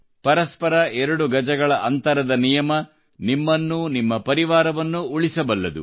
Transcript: ಪರಸ್ಪರ ಎರಡು ಗಜಗಳ ಅಂತರದ ನಿಯಮವು ನಿಮ್ಮನ್ನೂ ನಿಮ್ಮ ಪರಿವಾರವನ್ನೂ ಉಳಿಸಬಲ್ಲುದು